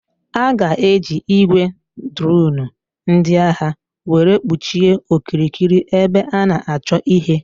A ga-eji ị́gwè droonu ndị agha were kpuchie okirikiri ebe a na-achọ ihe.